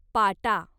पाटा